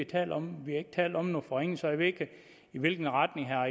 talt om vi har ikke talt om nogen forringelser jeg ved ikke i hvilken retning herre